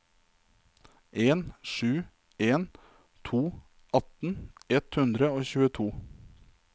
en sju en to atten ett hundre og tjueto